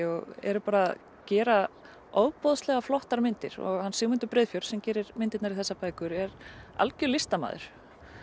og eru bara gera ofboðslega flottar myndir og hann Sigmundur Breiðfjörð sem gerir myndirnar í þessar bækur er algjör listamaður